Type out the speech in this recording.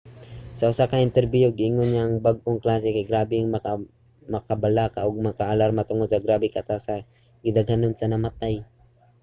sa usa ka interbiyo giingon niya nga ang bag-ong klase kay grabe nga makabalaka ug maka-alarma tungod sa grabe kataas sa gidaghanon sa namatay.